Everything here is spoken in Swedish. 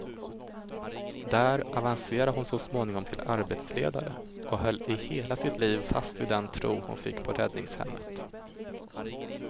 Där avancerade hon så småningom till arbetsledare, och höll i hela sitt liv fast vid den tro hon fick på räddningshemmet.